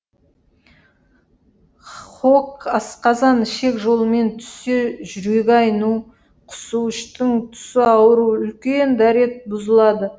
хоқ асқазан ішек жолымен түссе жүрегі айну құсу іштің түсы ауыру үлкен дәрет бұзылады